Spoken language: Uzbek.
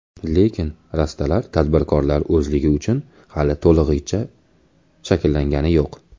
Lekin rastalar tadbirkorlar ozligi uchun hali to‘lig‘icha shakllangani yo‘q.